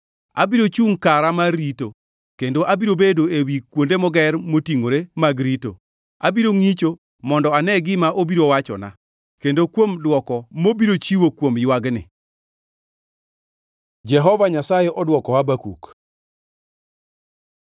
Abiro chungʼ kara mar rito kendo abiro bedo ewi kuonde moger motingʼore mag rito. Abiro ngʼicho mondo ane gima obiro wachona, kendo kuom dwoko mabiro chiwo kuom ywagni. Jehova Nyasaye odwoko Habakuk